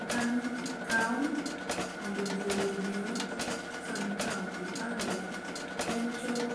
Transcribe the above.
Okang' minyal kaw mondo ji oyud yot samikawo kipande en choro